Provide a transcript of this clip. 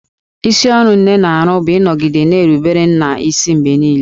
Isi ọrụ nne na-arụ bụ ịnọgide na-erubere nna isi mgbe niile